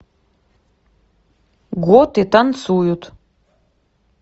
готы танцуют